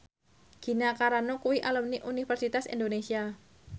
Gina Carano kuwi alumni Universitas Indonesia